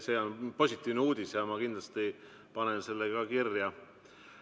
See on positiivne uudis ja ma kindlasti panen selle kirja.